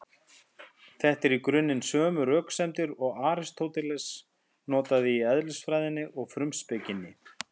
Þetta eru í grunninn sömu röksemdir og Aristóteles notaði í Eðlisfræðinni og Frumspekinni.